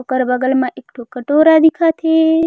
ओकर बगल म एक ठो कटोरा दिखत हे।